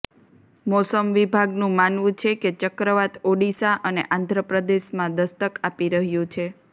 મોસમ વિભાગનું માનવું છે કે ચક્રવાત ઓડિશા અને આંધ્ર પ્રદેશમાં દસ્તક આપી રહ્યું છે